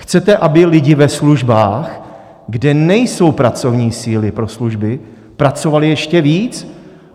Chcete, aby lidi ve službách, kde nejsou pracovní síly pro služby, pracovali ještě víc?